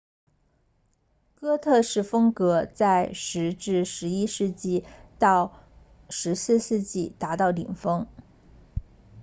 哥特式风格在10 11世纪到14世纪达到顶峰